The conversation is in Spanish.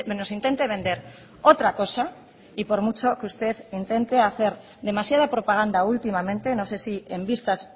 nos intente vender otra cosa y por mucho que usted intente hacer demasiada propaganda últimamente no sé si en vistas